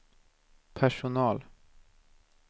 personal